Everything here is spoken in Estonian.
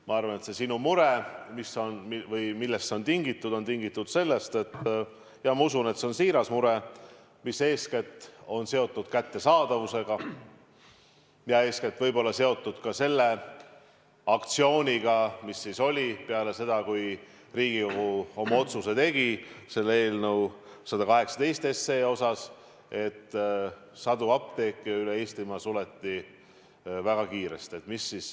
Ma arvan, et see sinu mure on tingitud sellest – ma usun, et see on siiras mure –, mis eeskätt on seotud kättesaadavusega ja võib-olla ka selle aktsiooniga, mis oli peale seda, kui Riigikogu tegi oma otsuse eelnõu 118 kohta, kui sadu apteeke üle Eestimaa väga kiiresti suleti.